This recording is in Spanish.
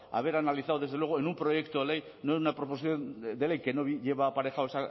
haber analizado desde luego en un proyecto ley no en una proposición de ley que no lleva aparejado